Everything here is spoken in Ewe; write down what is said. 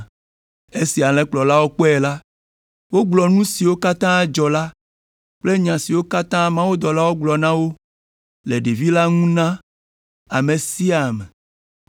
Esi Alẽkplɔlawo kpɔe la, wogblɔ nu siwo katã dzɔ la kple nya siwo katã mawudɔla la gblɔ na wo le ɖevi la ŋu la na ame sia ame.